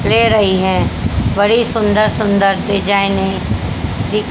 ले रही हैं बड़ी सुंदर सुंदर डिजाइन है दी--